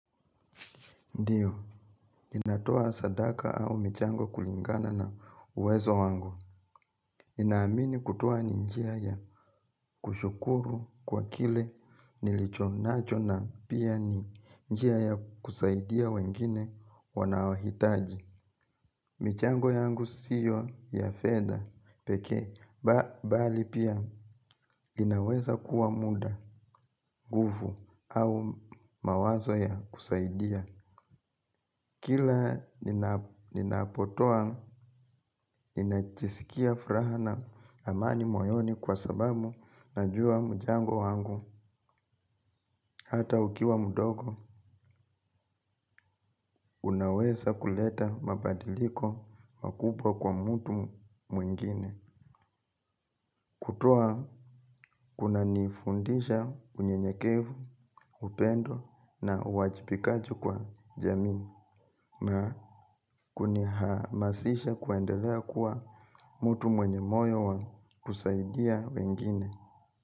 Ndiyo, ninatoa sadaka au michango kulingana na uwezo wangu. Ninaamini kutoa ni njia ya kushukuru kwa kile nilichonacho na pia ni njia ya kusaidia wengine wanaohitaji. Michango yangu siyo ya fedha pekee bali pia inaweza kuwa muda nguvu au mawazo ya kusaidia. Kila ninapotoa, ninajisikia furaha na amani moyoni kwa sababu najua mchango wangu. Hata ukiwa mdogo, unaweza kuleta mabadiliko makubwa kwa mtu mwingine. Kutoa, kunanifundisha unyenyekevu, upendo na uwajibikaji kwa jamii. Na kunihamasisha kuendelea kuwa mtu mwenye moyo wa kusaidia wengine.